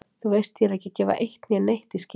Þú veist ég er ekki að gefa eitt né neitt í skyn.